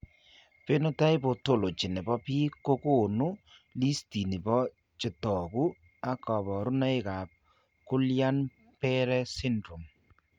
Phenotype ontology nebo biik kokoonu listini bo chetogu ak kaborunoik ab Gullian Barre syndrome